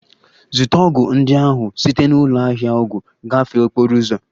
Zụta ọgwụ ndị ahụ site na ụlọ ahịa ọgwụ gafee okporo ụzọ!